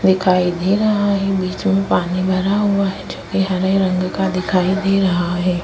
दिखाई दे रहा है बीच में पानी भरा हुआ है जो कि हरे रंग का दिखाई दे रहा है।